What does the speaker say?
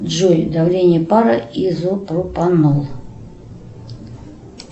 джой давление пара изопропанол